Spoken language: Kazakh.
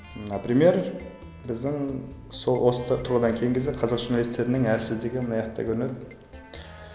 например біздің сол осы тұрғыдан кейінгі кезде қазақ журналистерінің әлсіздігі мынаяқта көрінеді